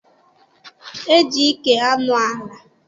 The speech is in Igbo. E ji ike anọ ala.